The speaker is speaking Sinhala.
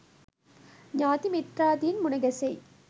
ඥාති මිත්‍රාදීන් මුණ ගැසෙයි.